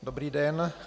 Dobrý den.